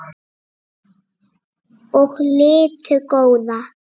og litu góða.